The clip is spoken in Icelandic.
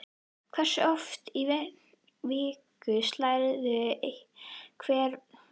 Hversu oft í viku slærðu hvern völl?